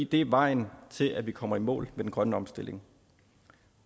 det er vejen til at vi kommer i mål den grønne omstilling